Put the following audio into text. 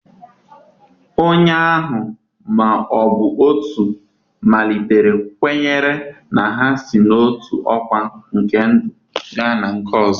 Onye ahụ ma ọ bụ otu malitere kwenyere na ha si n'otu ọkwa nke ndụ gaa na nke ọzọ.